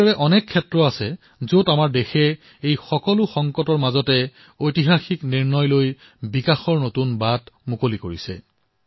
এনেকুৱা অনেক ক্ষেত্ৰ আছে যত আমাৰ দেশ এই সকলো সংকটৰ মাজত ঐতিহাসিক সিদ্ধান্ত গ্ৰহণৰ জৰিয়তে বিকাশৰ নতুন পথ মুকলি কৰিছে